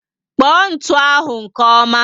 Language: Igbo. Kpọ ntụ ahụ nke ọma